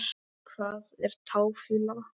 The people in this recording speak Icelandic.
Hvað er táfýla?